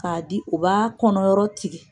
K'a di u b'a kɔnɔyɔrɔ tigɛ